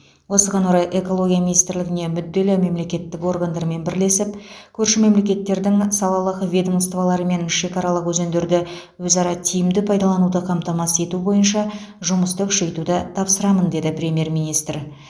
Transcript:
осыған орай экология министрлігіне мүдделі мемлекеттік органдармен бірлесіп көрші мемлекеттердің салалық ведомстволарымен шекарааралық өзендерді өзара тиімді пайдалануды қамтамасыз ету бойынша жұмысты күшейтуді тапсырамын деді премьер министр